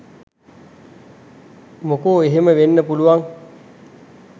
මොකෝ එහෙම වෙන්න පුළුවන්